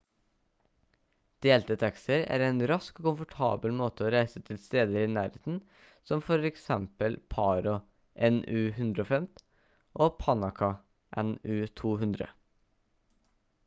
delte taxier er en rask og komfortabel måte å reise til steder i nærheten som for eksempel paro nu 150 og punakha nu 200